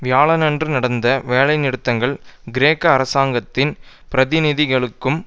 வியாழனன்று நடந்த வேலைநிறுத்தங்கள் கிரேக்க அரசாங்கத்தின் பிரதிநிதிகளுக்கும்